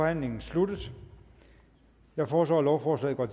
forhandlingen sluttet jeg foreslår at lovforslaget går